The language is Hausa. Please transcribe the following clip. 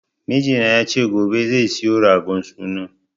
Mijina ya ce gobe zai siyo ragon sunan